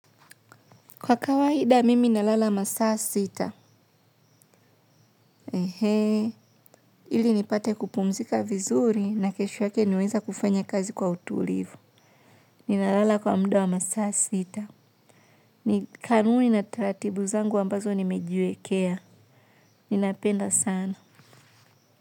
Kwa kawaida, mimi nalala masaa sita. Ee, ili nipate kupumzika vizuri na kesho yake niweze kufanya kazi kwa utulivu. Ninalala kwa mud wa masaa sita. Ni kanuni na taratibu zangu ambazo nimejiwekea. Ninapenda sana.